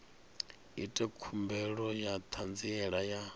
ite khumbelo ya ṱhanziela ya